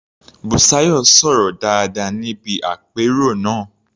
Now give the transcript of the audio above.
Bùsáyọ̀ sọ̀rọ̀ dáadáa níbi àpérò náà.